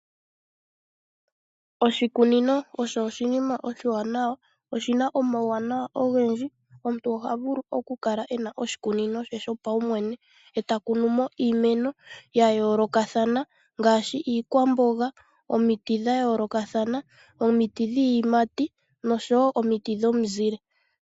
Oshikunino osho oshinima oshiwanawa. Oshi na omauwanawa ogendji. Omuntu oha vulu okukala e na oshikunino she shopaumwene e ta kunu mo iimeno ya yoolokathana ngaashi: iikwamboga, omiti dha yoolokathana, omiti dhiiyimati nosho wo omiti dhomizile.